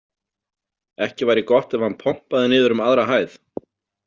Ekki væri gott ef hann pompaði niður um aðra hæð.